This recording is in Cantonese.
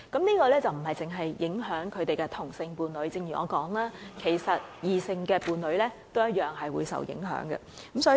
因為這不單會影響死者的同性伴侶，正如我所提及，異性伴侶也同樣會受影響。